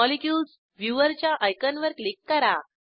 molecules viewer च्या आयकॉनवर click करा